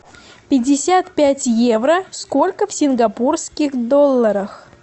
пятьдесят пять евро сколько в сингапурских долларах